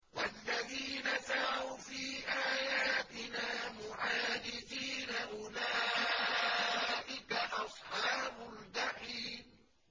وَالَّذِينَ سَعَوْا فِي آيَاتِنَا مُعَاجِزِينَ أُولَٰئِكَ أَصْحَابُ الْجَحِيمِ